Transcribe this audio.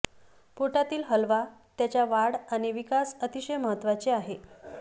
पोटातील हलवा त्याच्या वाढ आणि विकास अतिशय महत्त्वाचे आहे